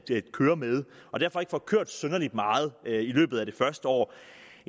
køre med og derfor ikke får kørt synderligt meget i løbet af det første år